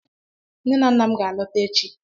Nne na nna m ga-alọta echi